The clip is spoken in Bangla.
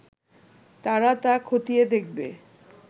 তারা তা খতিয়ে দেখবে